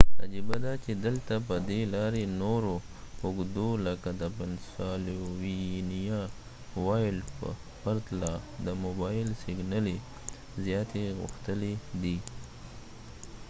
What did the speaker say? عجبه دا چې دلته په دې لارې نورو اوږدو لکه د پنسالوینیا وایلډ په پرتله د موبایل سګنلې زیاتې غښتلې دي